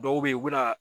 Dɔw bɛ yen u bɛ na